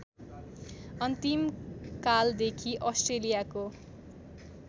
अन्तिम कालदेखि अस्ट्रेलियाको